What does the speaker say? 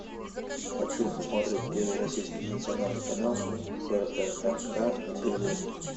хочу посмотреть первый российский национальный канал прнк на телевизоре